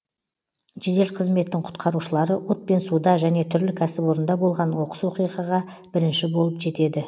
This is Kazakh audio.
жедел қызметтің құтқарушылары от пен суда және түрлі кәсіпорында болған оқыс оқиғаға бірінші болып жетеді